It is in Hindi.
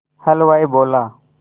हलवाई बोला